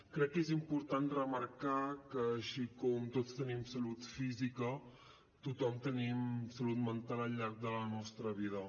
crec que és important remarcar que així com tots tenim salut física tots tenim salut mental al llarg de la nostra vida